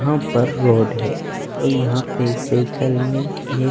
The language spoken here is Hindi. वहां पर रोड है और यहां पे साइकल में ये --